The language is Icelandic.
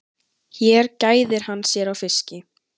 Hér gæðir hann sér á fiski.